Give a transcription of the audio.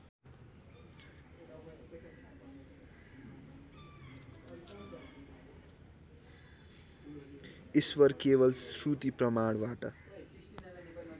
ईश्वर केवल श्रुतिप्रमाणबाट